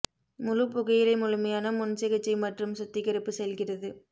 முழு புகையிலை முழுமையான முன் சிகிச்சை மற்றும் சுத்திகரிப்பு செல்கிறது